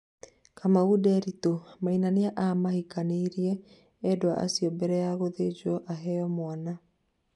Kamau Nderitu: Maina nĩamahikanirie endwa acio mbere ya guthĩnjwo aheo mwana